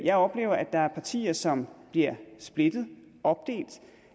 jeg oplever at der er partier som bliver splittet opdelt